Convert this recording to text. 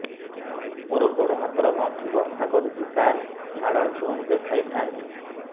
ମୋର ଗୋଡ ହାତ ର ଗଣ୍ଠି ବଥା କରୁଛି ସାର ହାଡ଼ ଡାକ୍ତର ଙ୍କୁ ଦେଖାଇ ଥାନ୍ତି